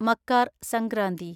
Makar Sankranti